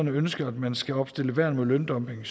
ønsker at man skal opstille værn mod løndumping